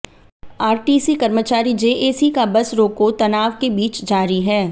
RTC कर्मचारी JAC का bus रोको तनाव के बीच जारी है